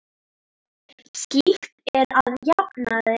Slíkt er að jafnaði óþarft.